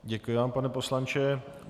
Děkuji vám, pane poslanče.